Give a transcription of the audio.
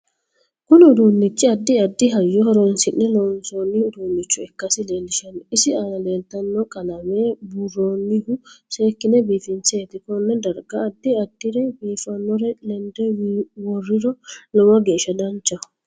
KUni uduunichi addi addi hayyo horoonsine loonsooni uduunicho ikkasi leelishano isi aana leelitanno qalame buuroonihu seekine biifinseeti konne. darga addi addire biifanore lende worriro lowo geesha danchaho